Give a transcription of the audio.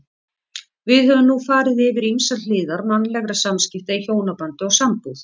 Við höfum nú farið yfir ýmsar hliðar mannlegra samskipta í hjónabandi og sambúð.